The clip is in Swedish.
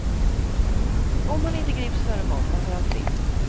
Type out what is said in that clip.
Om han inte grips före måndag går han fri.